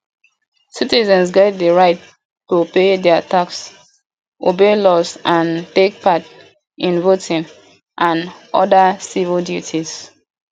citizens get di right to pay their tax obey laws and take part in voting and oda civic duties